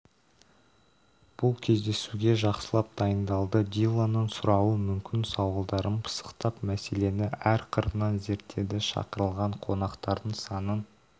бұл кездесуге жақсылап дайындалды диллонның сұрауы мүмкін сауалдарын пысықтап мәселені әр қырынан зерттеді шақырылған қонақтардың санын